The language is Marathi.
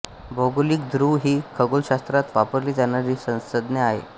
भौगोलिक धृव ही खगोलशास्त्रात वापरली जाणारी संज्ञा आहे